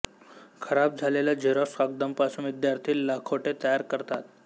खराब झालेल्या झेरॉक्स कागदांपासून विद्यार्थी लखोटे तयार करतात